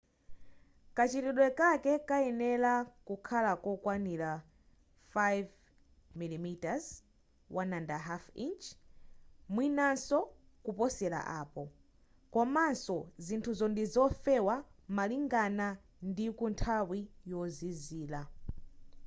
kachitidwe kake kayenera kakhale kokwanira 5mm 1/5 inchi mwinanso kuposera apo komanso zinthuzo ndizofewa malingana ndi kunthawi yozizira